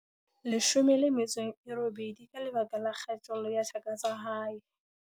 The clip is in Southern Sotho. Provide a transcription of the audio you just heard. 18 ka lebaka la kgatello ya thaka tsa hae.